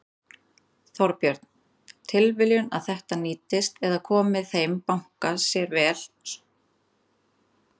Þorbjörn: Tilviljun að þetta nýtist eða komi þeim banka sér svona vel?